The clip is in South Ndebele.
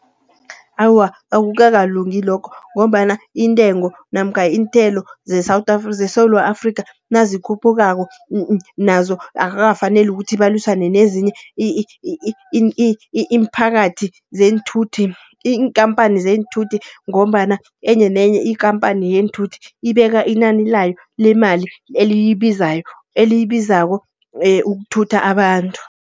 Awa, akukakalungi lokho, ngombana intengo namkha iinthelo ze-South Africa, zeSewula Afrika nazikhuphukako nazo akakafaneli, ukuthi balwisa nezinye iimphakathi zeenthuthi iinkampani zeenthutho. Ngombana enye nenye ikampani yeenthuthi, ibeka inani layo lemali eliyibizayo, eliyibizako ukuthutha abantu.